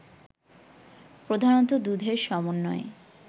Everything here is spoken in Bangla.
প্রধানত দুধের সমন্বয়ে